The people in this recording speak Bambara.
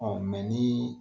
ni